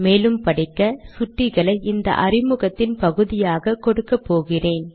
மேலும் படிக்க சுட்டிகளை இந்த அறிமுகத்தின் பகுதியாக கொடுக்கப்போகிறேன்